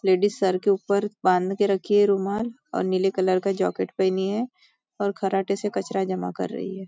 Ladies सर के ऊपर बांध के रखी है रुमाल और नीले कलर का जैकेट पहनी है और खराटे से कचरा जमा कर रही है।